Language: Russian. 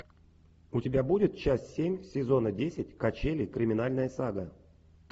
у тебя будет часть семь сезона десять качели криминальная сага